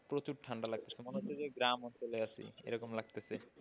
প্রচুর ঠান্ডা লাগছে মনে হচ্ছে যে গ্রাম অঞ্চলে আছি এরকম লাগতেছে।